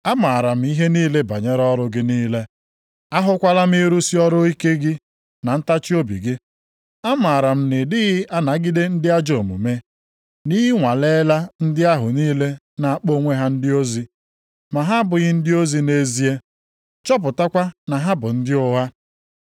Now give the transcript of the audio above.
Amaara m ihe niile banyere ọrụ gị niile. Ahụkwala m ịrụsị ọrụ ike gị na ntachiobi gị. Amaara m na ị dịghị anagide ndị ajọ omume, na ị nwaleela ndị ahụ niile na-akpọ onwe ha ndị ozi, ma ha abụghị ndị ozi nʼezie, chọpụtakwa na ha bụ ndị ụgha.